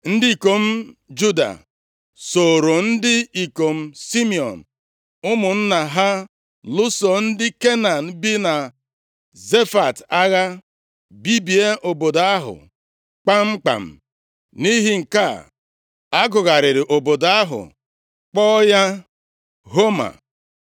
Ndị ikom Juda sooro ndị ikom Simiọn, ụmụnna ha, lụso ndị Kenan bi na Zefat agha, bibie obodo ahụ kpamkpam. Nʼihi nke a, a gụgharịrị obodo ahụ, kpọọ ya Homa.